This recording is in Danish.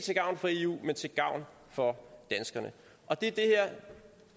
til gavn for eu men til gavn for danskerne og det